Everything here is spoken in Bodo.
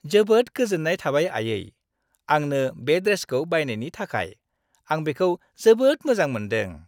जोबोद गोजोन्नाय थाबाय आयै! आंनो बे ड्रेसखौ बायनायनि थाखाय, आं बेखौ जोबोद मोजां मोनदों।